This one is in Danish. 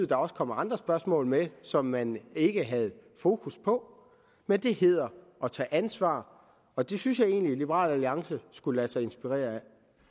der også kommer andre spørgsmål med som man ikke havde fokus på men det hedder at tage ansvar og det synes jeg egentlig at liberal alliance skulle lade sig inspirere af